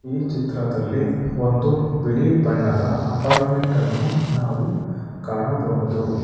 ಈ ಚಿತ್ರದಲ್ಲಿ ಒಂದು ಬಿಳಿ ಬಣ್ಣದ ಅಪಾರ್ಟ್ಮೆಂಟ್ ಅನ್ನು ನಾವು ಕಾಣಬಹುದು.